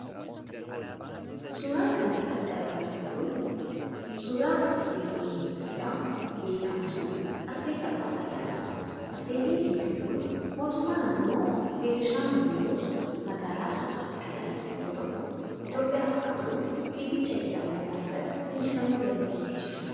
Suura kana irratti kan argaa jirru kun, suura atileetii biyya keenya Itoophiyaa beekamtuu, Atileet Almaaz Ayyaanaa dha. Atileetiin cimtuun kun, mootummaa naannoo Beenishaangul Gumuz, magaalaa Asoosaatti kan dhalatte yoo ta'u, Itoophiyaa bakka bu'uun fiigicha idil-adunyaa irratti injifannoo galmeessistee jirti.